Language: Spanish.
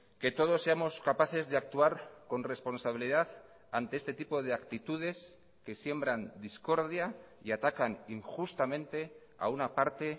que todos seamos capaces de actuar con responsabilidad ante este tipo de actitudes que siembran discordia y atacan injustamente a una parte